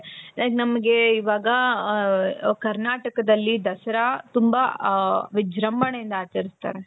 Like ನಮಗೆ ಇವಾಗ ಹ ಹ ಕರ್ನಾಟಕದಲ್ಲಿ ದಸರಾ ತುಂಬಾಹ ವಿಜೃಂಭಣೆಯಿಂದ ಆಚರಿಸುತ್ತಾರೆ